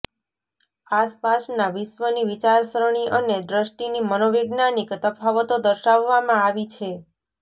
આસપાસના વિશ્વની વિચારસરણી અને દ્રષ્ટિની મનોવૈજ્ઞાનિક તફાવતો દર્શાવવામાં આવી છે